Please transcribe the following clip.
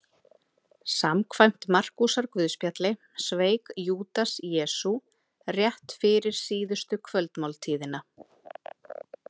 Samkvæmt Markúsarguðspjalli sveik Júdas Jesú rétt fyrir síðustu kvöldmáltíðina.